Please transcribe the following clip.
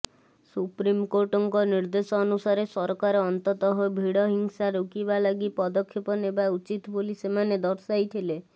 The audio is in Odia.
ସୁପ୍ରିମ୍କୋର୍ଟଙ୍କ ନିର୍ଦ୍ଦେଶ ଅନୁସାରେ ସରକାର ଅନ୍ତତଃ ଭିଡ଼ହିଂସା ରୋକିବା ଲାଗି ପଦକ୍ଷେପ ନେବା ଉଚିତ ବୋଲି ସେମାନେ ଦର୍ଶାଇଥିଲେ